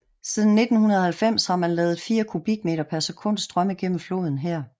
Siden 1990 har man ladet 4 kubikmeter per sekund strømme gennem floden her